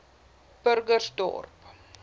burgersdorp